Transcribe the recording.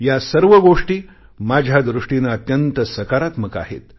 या सर्व गोष्टी माझ्या दृष्टीने अत्यंत सकारात्मक आहेत